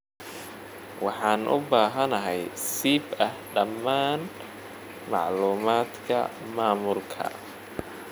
Waxaan u baahanahay sib ah dhammaan macluumaadka maamulka.